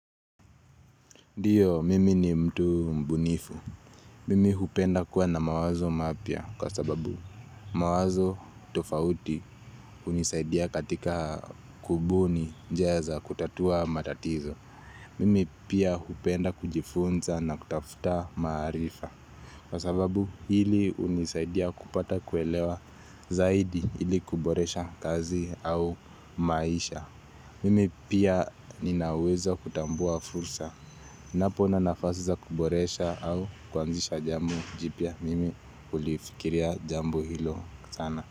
Ndiyo, mimi ni mtu mbunifu. Mimi hupenda kuwa na mawazo mapya kwa sababu mawazo tofauti unisaidia katika kubuni njiaza kutatua matatizo. Mimi pia hupenda kujifunza na kutafuta maarifa. Kwa sababu hili unisaidia kupata kuelewa zaidi ili kuboresha kazi au maisha. Mimi pia ninaweza kutambua fursa. Napo nanafasiza kuboresha au kuanzisha jambo jipya. Mimi hulifikiria jambo hilo sana.